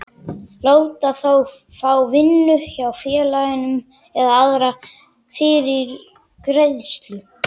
láta þá fá vinnu hjá félaginu eða aðra fyrirgreiðslu.